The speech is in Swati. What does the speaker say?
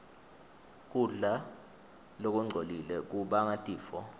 kudla lokungcolile kubangatifo